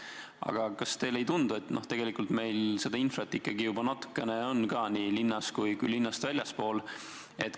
Aga kas teile ei tundu, et tegelikult meil seda infrat ikkagi juba natukene on ka, nii linnas kui ka linnast väljaspool?